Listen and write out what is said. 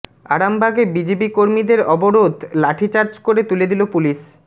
আরামবাগে বিজেপি কর্মীদের অবরোধ লাঠিচার্জ করে তুলে দিল পুলিস